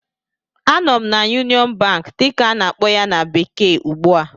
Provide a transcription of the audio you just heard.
Anọ m na "Union Bank" dịka a na-akpọ ya na bekee ugbu a